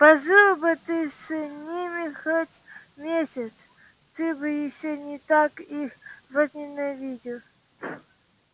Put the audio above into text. пожил бы ты с ними хоть месяц ты бы ещё не так их возненавидел